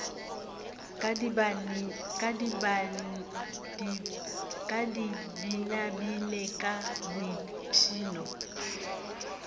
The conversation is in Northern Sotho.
ka di binabine ka boipshino